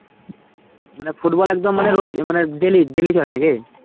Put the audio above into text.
মানে football একদম মানে রোজ মানে dailydaily চলে নাকি?